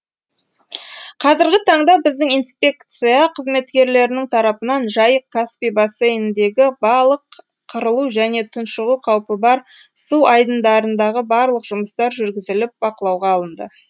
қазіргі таңда біздің инспекция қызметкерлерінің тарапынан жайық каспий бассейніндегі балық қырылу және тұншығу қаупі бар су айдындарындағы барлық жұмыстар жүргізіліп бақылауға алынды